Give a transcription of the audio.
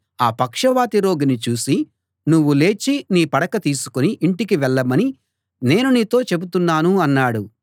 ఆ పక్షవాత రోగిని చూసి నువ్వు లేచి నీ పడక తీసుకుని ఇంటికి వెళ్ళమని నేను నీతో చెబుతున్నాను అన్నాడు